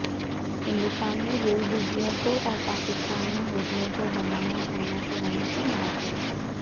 ہندوستان میں ریل بوگیوں کو اور پاکستان میں ہوٹلوں کو بنایا قرنطینہ کے مراکز